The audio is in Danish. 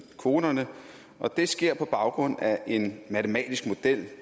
kvoterne og det sker på baggrund af en matematisk model